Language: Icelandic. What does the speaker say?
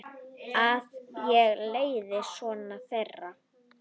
Að ég leiði son þeirra.